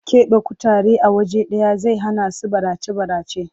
Ƙeɓe kutare a waje ɗaya zai hanasu barace-barace.